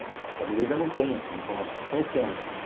A família ainda não tem essas informações, não tá conhecendo.